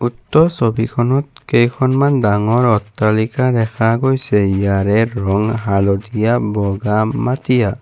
উক্ত ছবিখনত কেইখনমান ডাঙৰ অট্টালিকা দেখা গৈছে য়াৰে ৰঙ হালধীয়া বগা মাটিয়া।